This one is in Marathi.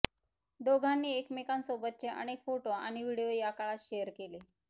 दोघांनी एकमेकांसोबतचे अनेक फोटो आणि व्हिडिओ या काळात शेअर केले